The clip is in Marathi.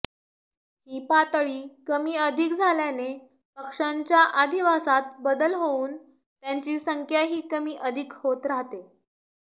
ही पातळी कमीअधिक झाल्याने पक्ष्यांच्या अधिवासात बदल होऊन त्यांची संख्याही कमीअधिक होत राहते